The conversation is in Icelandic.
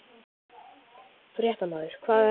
Fréttamaður: Hvaða regla?